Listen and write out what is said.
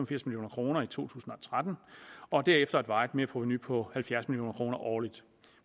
firs million kroner i to tusind og tretten og derefter et varigt merprovenu på halvfjerds million kroner årligt